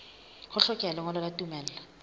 ho hlokeha lengolo la tumello